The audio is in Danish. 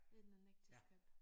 Anden ægteskab